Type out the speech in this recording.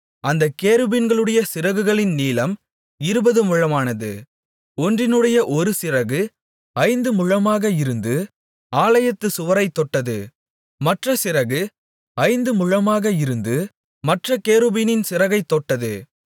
அந்தக் கேருபீன்களுடைய சிறகுகளின் நீளம் இருபது முழமானது ஒன்றினுடைய ஒரு சிறகு ஐந்து முழமாக இருந்து ஆலயத்துச் சுவரைத் தொட்டது மற்ற சிறகு ஐந்து முழமாக இருந்து மற்றக் கேருபீனின் சிறகைத் தொட்டது